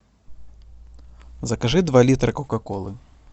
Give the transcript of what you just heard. закажи два литра кока колы